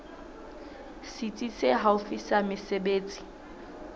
setsi se haufi sa mesebetsi